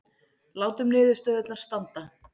Látum niðurstöðurnar standa